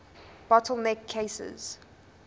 bottle neck cases